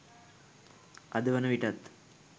අද වන විටත්